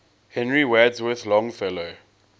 henry wadsworth longfellow